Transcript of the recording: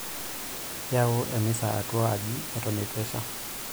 Iyau emisa atua aji eton eitu esha.